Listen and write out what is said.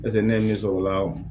ne ye min sɔrɔ o la